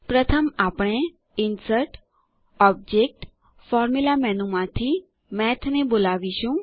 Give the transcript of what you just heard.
પ્રથમ આપણે insert object formula menu માંથી મેઠ ને બોલાવીશું